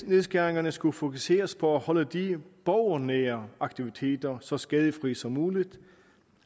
nedskæringerne skulle fokuseres på at holde de borgernære aktiviteter så skadefri som muligt